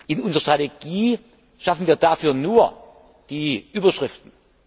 In unserer Strategie schaffen wir dafür nur die Überschriften.